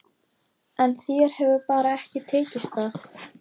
En þér hefur bara ekki tekist það.